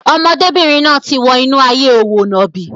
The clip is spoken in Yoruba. Ọmọdébìnrin náà ti wọ inú ayé òwò nàbì.